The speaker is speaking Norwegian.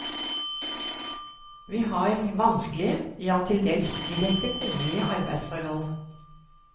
Vi har vanskelige, ja til dels direkte kummerlige arbeidsforhold.